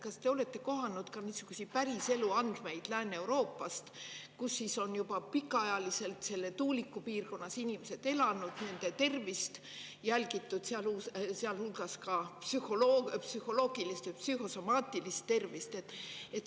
Kas te olete kohanud niisuguseid päriselu andmeid Lääne-Euroopast, kus inimesed on juba pikka aega tuulikute piirkonnas elanud ja nende tervist on jälgitud, sealhulgas psühholoogilist või psühhosomaatilist tervist?